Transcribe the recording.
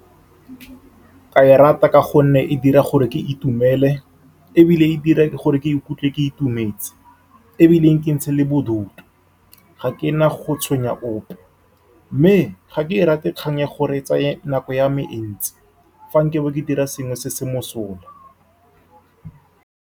Ka e rata ka gonne e dira gore ke itumele, ebile e dira gore ke ikutlwe ke itumetse, ebile e nkitshe le bodutu. Ga ke na go tshwenya ope, mme ga ke e rate kgang ya gore e tsaya nako ya me e ntsi fa nkabo ke dira sengwe se se mosola.